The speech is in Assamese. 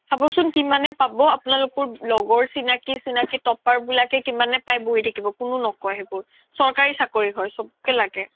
চাব্চোন কিমান পাব আপুনালোক লগৰ চিনাকি চিনাকি topper বিলাকে পাই বহি থাকিব কোনেও ন্কৈ সেইবোৰ চৰ্কাৰি হয় চব্কে লাগে